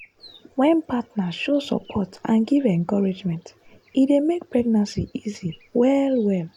wen partner show support and give encouragement e dey make pregnancy easy well well.